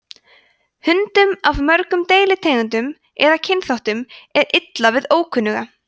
hundum af mörgum deilitegundum eða kynþáttum er illa við ókunnuga